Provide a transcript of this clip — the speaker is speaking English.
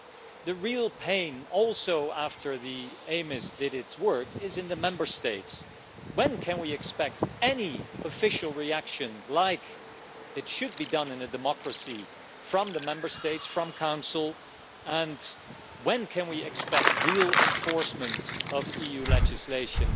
but the real pain, also after the EMIS committee did its work, is in the Member States. When can we expect an official reaction, as there should be in a democracy, from the Member States, from the Council, and when can we expect real enforcement of EU legislation?